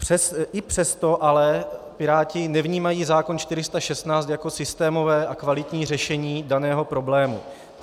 I přesto ale Piráti nevnímají zákon 416 jako systémové a kvalitní řešení daného problému.